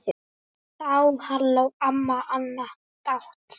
Þá hló amma Anna dátt.